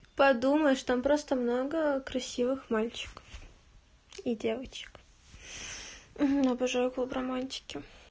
подумаешь там просто много красивых мальчиков и девочек обожаю клуб романтики